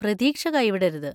പ്രതീക്ഷ കൈവിടരുത്.